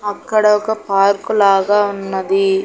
అక్కడ ఒక పార్కు లాగా ఉన్నది.